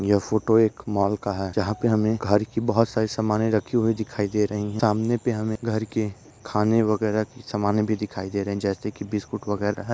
यह photo mall का है जहा पे हमे घर की बहुत सारी सामने राखी हुई दिखाई दे रही है सामने पे हमे घर के खाने वगेरा की सामाने भी दिखाई दे रही है जैसे की बिस्कुट वगैरा ह--